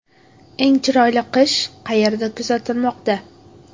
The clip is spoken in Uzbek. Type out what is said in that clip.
Eng chiroyli qish qayerda kuzatilmoqda?